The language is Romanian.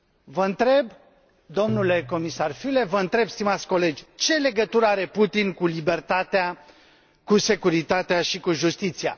Vă întreb, domnule comisar Füle, vă întreb, stimați colegi, ce legătură are Putin cu libertatea, cu securitatea și cu justiția?